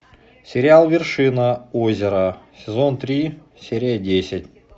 сериал вершина озера сезон три серия десять